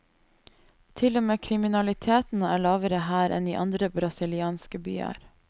Til og med kriminaliteten er lavere her enn i andre brasilianske byer.